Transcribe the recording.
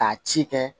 K'a ci kɛ